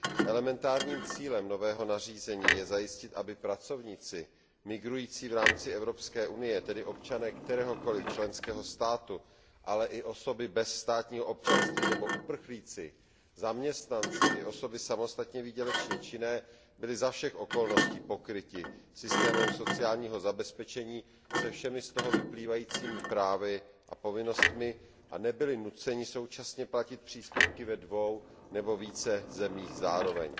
Elementárním cílem nového nařízení je zajistit, aby pracovníci migrující v rámci Evropské unie, tedy občané kteréhokoliv členského státu, ale i osoby bez státního občanství nebo uprchlíci, zaměstnanci i osoby samostatně výdělečně činné byli za všech okolností pokryti systémem sociálního zabezpečení se všemi z toho vyplývajícími právy a povinnostmi a nebyli nuceni současně platit příspěvky ve dvou nebo více zemích zároveň.